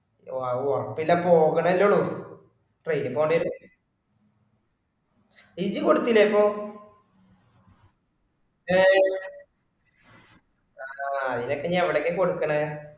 ആവോ അപ്പൊള്ള പോകണല്ലേ ഉള്ളു train പോണ്ടേരും ഇജ്ജ് കൊടുത്തില്ലെപ്പൊ ഏഹ് ആ അയിനൊക്കെ എവടക്കാ കൊടകണേ